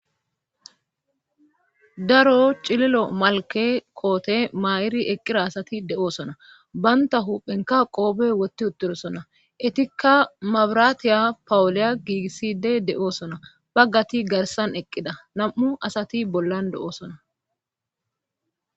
daro cililo malke koote maa7iri eqqira asati de7oosona banta huphenka qoobe wotti utturosona itikka mabiraatiya pawuliya giigisside de7oosona baggati garsan eqqida nam7u asati bollan de7oosona